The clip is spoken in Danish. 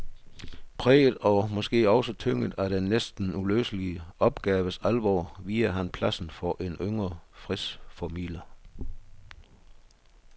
Præget og måske også tynget af den næsten uløselige opgaves alvor viger han pladsen for en yngre fredsformidler.